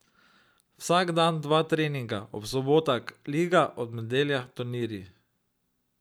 Vsak dan dva treninga, ob sobotah liga, ob nedeljah turnirji.